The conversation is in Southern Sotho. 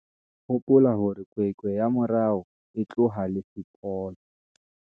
Hopola hore kwekwe ya morao e tloha le sepolo!